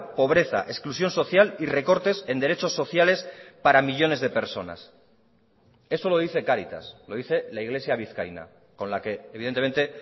pobreza exclusión social y recortes en derechos sociales para millónes de personas eso lo dice cáritas lo dice la iglesia vizcaína con la que evidentemente